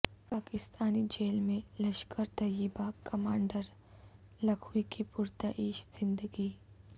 Pakistani jail میں Lashkar Taiba commander Lakhvi کی پرتعیش زندگی